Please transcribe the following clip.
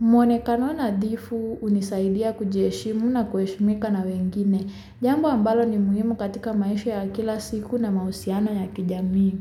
Mwonekano nadhifu unisaidia kujieshimu na kueshimika na wengine. Jambo ambalo ni muhimu katika maisha ya kila siku na mausiano ya kijamii.